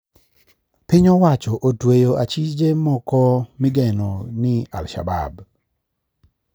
Piny owacho otueyo achije moko migeno ni alshabab